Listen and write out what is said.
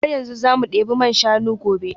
Har yanzu za mu debi man shanu gobe?